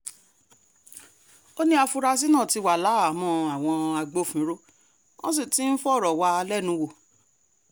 ó ní àfúrásì náà ti wà láhàámọ̀ àwọn agbófinró wọ́n sì ti ń fọ̀rọ̀ wá a lẹ́nu wò